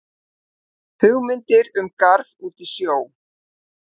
Hugmyndir um garð út í sjó